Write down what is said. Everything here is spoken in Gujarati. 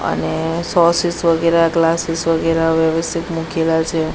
અને સોસીસ વગેરા ગલાસીસ વગેરે વ્યવસ્થિત મૂકેલા છે.